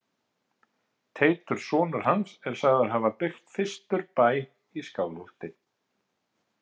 Teitur sonur hans er sagður hafa byggt fyrstur bæ í Skálholti.